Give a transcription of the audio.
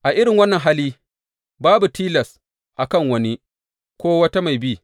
A irin wannan hali, babu tilas a kan wani, ko wata mai bi.